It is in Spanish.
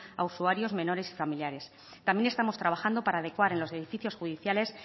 a usuarios menores y familiares también estamos trabajando para adecuar en los edificios judiciales